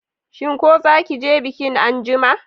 Shin ko zaki je bikin anjima?